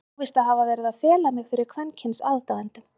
Ég á víst að hafa verið að fela mig fyrir kvenkyns aðdáendum?!